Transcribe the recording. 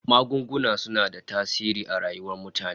Magunguna suna da tasiri a rayuwar mutane